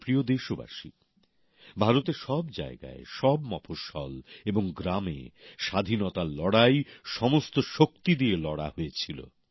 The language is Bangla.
আমার প্রিয় দেশবাসী ভারতের সব জায়গায় সব মফস্বল এবং গ্রামে স্বাধীনতার লড়াই সমস্ত শক্তি দিয়ে লড়া হয়েছিল